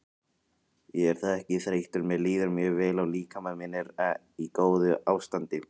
Ég er ekki þreyttur mér líður mjög vel og líkami minn er í góðu ástandi.